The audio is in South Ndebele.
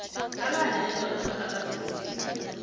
alale nendoda angakazimiseli